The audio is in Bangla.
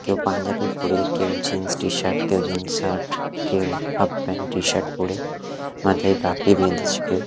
কেউ পাঞ্জাবি পরে কেউ জিন্স টিশার্ট কেউ জিন্স শার্ট কেউ হাফ প্যান্ট টিশার্ট পরে মাথায় পাগড়ি বেঁধেছে কেউ।